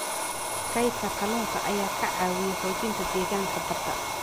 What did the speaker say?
Kaydka kalluunka ayaa ka caawiya xoojinta deegaanka badda.